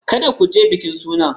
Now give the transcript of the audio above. Kada ku je bikin sunan!